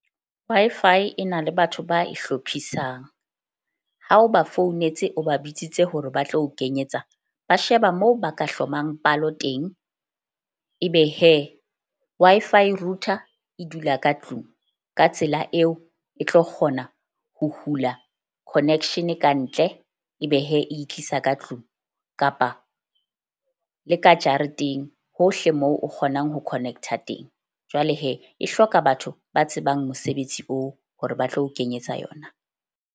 Wi-Fi e na le batho ba e hlophisang ha o ba founetse, o ba bitsitse hore ba tlo o kenyetsa, ba sheba moo ba ka hlomang palo teng. Ebe Wi-Fi router e dula ka tlung ka tsela eo, e tlo kgona ho hula connection kantle. Ebe e tlisa ka tlung kapa le ka jareteng hohle moo o kgonang ho connect-a teng. Jwale e hloka batho ba tsebang mosebetsi oo hore ba tlo o kenyetsa yona.